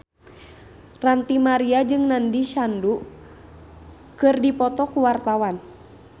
Ranty Maria jeung Nandish Sandhu keur dipoto ku wartawan